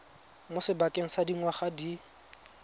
mo sebakeng sa dingwaga di